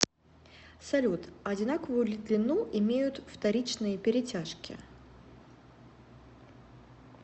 салют одинаковую ли длину имеют вторичные перетяжки